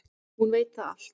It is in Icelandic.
Hún veit þetta allt.